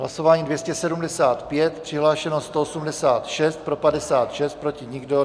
Hlasování 275, přihlášeno 186, pro 56, proti nikdo.